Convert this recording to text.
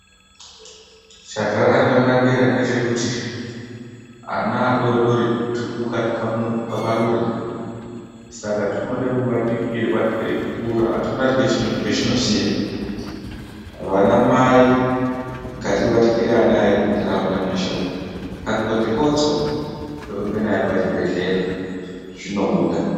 Chazvakanakira ndechekuti ana adodori twupuka twamarure Saka tunode kubatikirwa twei kura achiona chachinoziva vana mai ngatibatikire vana vedu mundaraunda mweshe umo akangokotsora torumba naye kuchibhedhlera zvinobuda.